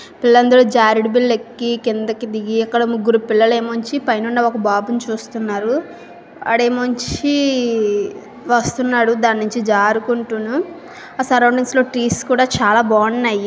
లందరూ జారేడుపల్లి కిందకి దిగి ఎక్కడ ముగ్గురు పిల్లలు ఏముంచి పైనున్న ఒక బాబుని చూస్తున్నారు ఆడే మంచి వస్తున్నాడు దాని నుంచి జారుకుంటున్న చాలా బాగున్నాయి.